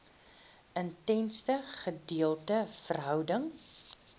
intense gedeelde verhouding